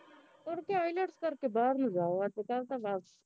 ਹੋਰ ਕਿਆ ielts ਕਰਕੇ ਬਾਹਰ ਨੂੰ ਜਾਓ ਅੱਜ ਕੱਲ ਤਾਂ ਬਸ